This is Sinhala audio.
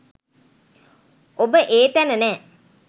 ඔබ ඒ තැන නෑ.